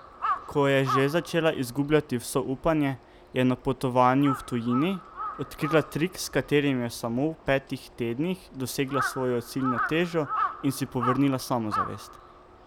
Ko je že začela izgubljati vso upanje je na potovanju v tujini odkrila trik s katerim je v samo petih tednih dosegla svojo ciljno težo in si povrnila samozavest!